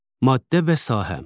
Maddə və sahə.